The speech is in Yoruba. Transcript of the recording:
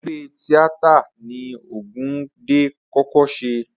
Eré tíátà ni Ògúndé kọ́kọ́ ṣe.